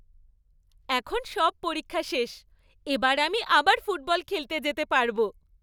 এখন সব পরীক্ষা শেষ, এবার আমি আবার ফুটবল খেলতে যেতে পারবো।